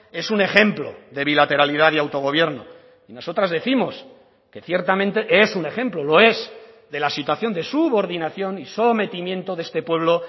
es un ejemplo de bilateralidad y autogobierno y nosotras décimos que ciertamente es un ejemplo lo es de la situación de subordinación y sometimiento de este pueblo